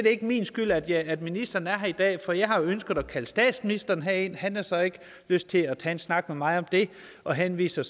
ikke min skyld at at ministeren er her i dag for jeg har ønsket at kalde statsministeren herned han har så ikke lyst til at tage en snak med mig om det og henviser